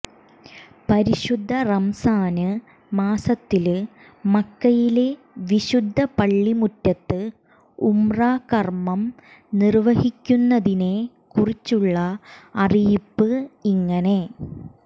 പരിശുദ്ധ റംസാന് മാസത്തില് മക്കയിലെ വിശുദ്ധ പള്ളിമുറ്റത്ത് ഉംറ കര്മ്മം നിര്വ്വഹിക്കുന്നതിനെ കുറിച്ചുള്ള അറിയിപ്പ് ഇങ്ങനെ